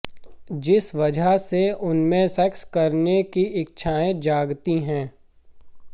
जिस वजह से उनमें सेक्स करने की इच्छाएं जागती हैं